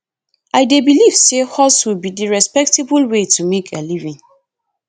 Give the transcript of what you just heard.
i dey believe say hustle be di respectable way to make a living